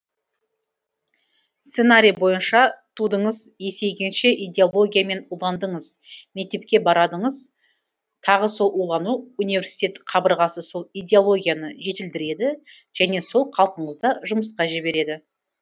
сценарий бойынша тудыңыз есейгенше идеологиямен уландыңыз мектепке барадыңыз тағы сол улану университет қабырғасы сол идеологияны жетілдіреді және сол қалпыңызда жұмысқа жібереді